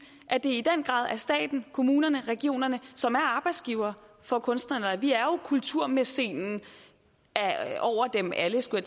at det i den grad er staten kommunerne og regionerne som er arbejdsgivere for kunstnerne og vi er jo kulturmæcenen over dem alle skulle